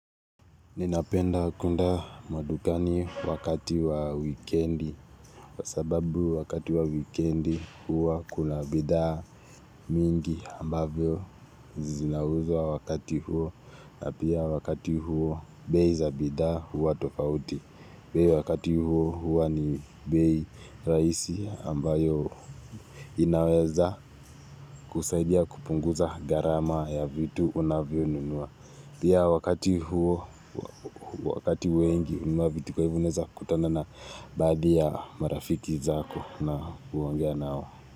Ninapenda kunda mwadukani wakati wa weekendi, sababu wakati wa weekendi huwa kuna bidha mingi ambavyo zinauzwa wakati huo na pia wakati huo beza bida huwa tofauti. Pia wakati huo huwa ni bei raisi ambayo inaweza kusaidia kupunguza garama ya vitu unavyo nunua. Pia wakati wengi umabiti kwa hivuneza kutana na baadhi ya marafiki zako na kuhangea nao.